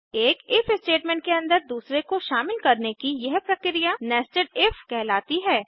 एक if statement के अंदर दूसरे को शामिल करने की यह प्रक्रिया nested इफ कहलाती है